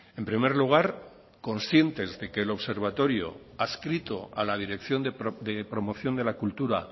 en primer lugar conscientes de que el observatorio adscrito a la dirección de promoción de la cultura